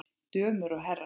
Dömur og herrar!